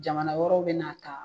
Jamana wɛrɛw bɛ n'a ta.